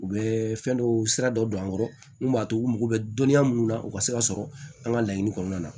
U bɛ fɛn dɔw sira dɔ don an kɔrɔ mun b'a to u mago bɛ dɔnniya mun na u ka se ka sɔrɔ an ka laɲini kɔnɔna na